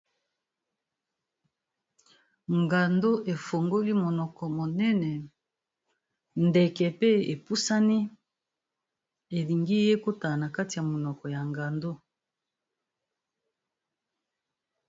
Ngando efongoli monoko monene, ndeke pe epusani elingi ekota na na kati ya monoko ya ngando.